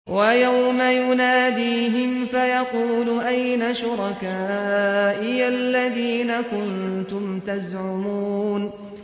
وَيَوْمَ يُنَادِيهِمْ فَيَقُولُ أَيْنَ شُرَكَائِيَ الَّذِينَ كُنتُمْ تَزْعُمُونَ